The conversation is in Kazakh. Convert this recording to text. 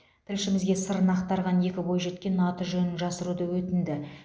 тілшімізге сырын ақтарған екі бойжеткен аты жөнін жасыруды өтінді